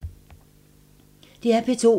DR P2